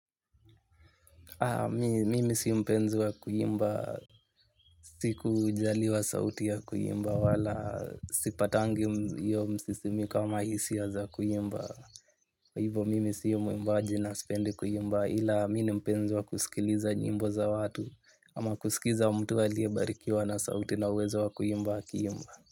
Mimi si mpenzi wa kuimba, sikujaliwa sauti ya kuimba wala sipatangi msisimiko ama hisia za kuimba. Hivo mimi sio mwimbaji na sipendi kuimba ila mimi ni mpenzi wa kusikiliza nyimbo za watu. Ama kusikiza wa mtu aliyebarikiwa na sauti na uweza wa kuimba akiimba.